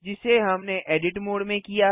जिसे हमने edit mode में किया